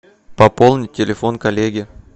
пополнить телефон коллеги